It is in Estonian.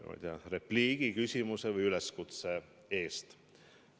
Aitäh repliigi, küsimuse või üleskutse eest!